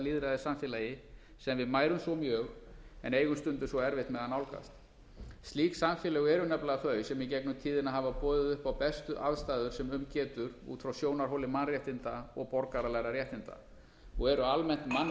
lýðræðissamfélagi sem við mærum svo mjög en eigum stundum svo erfitt með að nálgast slík samfélög eru nefnilega þau sem í gegnum tíðina hafa boðið upp á bestu aðstæður sem um getur út frá sjónarhóli mannréttinda og borgaralegra réttinda og eru almennt mannvænni